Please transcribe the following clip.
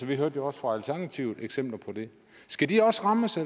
vi hørte jo også fra alternativet eksempler på det skal de også rammes af